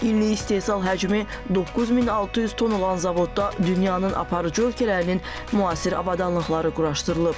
İllik istehsal həcmi 9600 ton olan zavodda dünyanın aparıcı ölkələrinin müasir avadanlıqları quraşdırılıb.